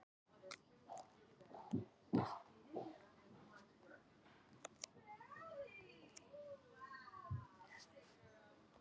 Með mús í afturendanum